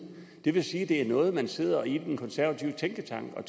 det vil sige at det er noget man sidder og i den konservative tænketank